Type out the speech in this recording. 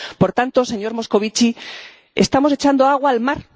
Por tanto, señor Moscovici, estamos echando agua al mar.